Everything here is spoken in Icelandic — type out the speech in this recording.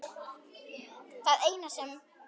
Það eina sem